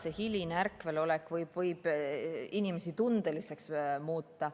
Eks hiline ärkvelolek võib inimesi tundeliseks muuta.